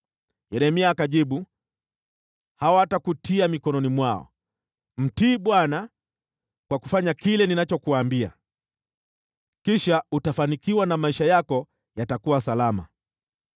Yeremia akajibu, “Hawatakutia mikononi mwao. Mtii Bwana kwa kufanya kile ninachokuambia. Kisha utafanikiwa na maisha yako yatakuwa salama.